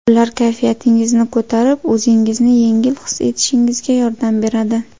Ular kayfiyatingizni ko‘tarib, o‘zingizni yengil his etishingizga yordam beradi.